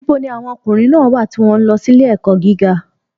Níbo ni àwọn ọmọ ọkùnrin náà wà tí wọ́n ń lọ sí ilé-ẹ̀kọ́ gíga?